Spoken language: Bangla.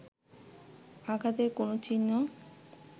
আঘাতের কোন চিহ্ন